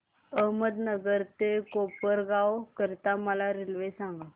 अहमदनगर ते कोपरगाव करीता मला रेल्वे सांगा